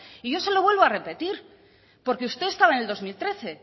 y yo se lo vuelvo a repetir porque usted estaba en el dos mil trece